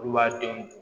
Olu b'a denw